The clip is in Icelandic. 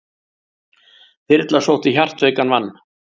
Þyrla sótti hjartveikan mann